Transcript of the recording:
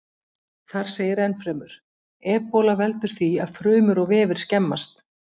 Þar segir ennfremur: Ebóla veldur því að frumur og vefir skemmast.